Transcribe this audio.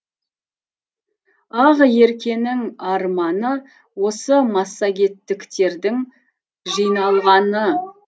ақеркенің арманы осы массагеттіктердің жиналғаны